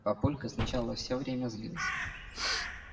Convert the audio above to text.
папулька сначала всё время злился